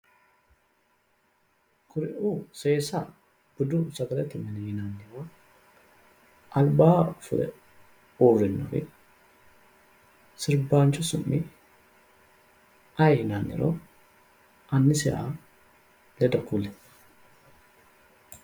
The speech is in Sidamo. Kuriuu seesa budu sagalete mine yinanniwa albaa fule uurrinori sirbaanchu su'mi aye yinanniro annisiha ledo kuli